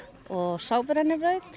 og